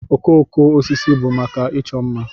Okooko osisi bụ maka ịchọ mma.